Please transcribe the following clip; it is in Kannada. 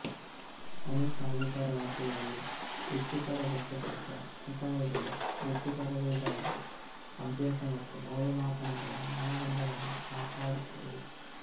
ಅನೇಕ ಅಧಿಕಾರವ್ಯಾಪ್ತಿಗಳಲ್ಲಿ ವೃತ್ತಿಪರ ಲೆಕ್ಕಶಾಸ್ತ್ರ ನಿಕಾಯಗಳು ವೃತ್ತಿಪರರಿಗಾಗಿ ಅಭ್ಯಾಸ ಮತ್ತು ಮೌಲ್ಯಮಾಪನಗಳ ಮಾನದಂಡಗಳನ್ನು ಕಾಪಾಡುತ್ತವೆ